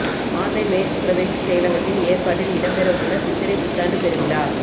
மாந்தை மேற்கு பிரதேசச் செயலகத்தின் ஏற்பாட்டில் இடம் பெறவுள்ள சித்திரை புத்தாண்டு பெருவிழா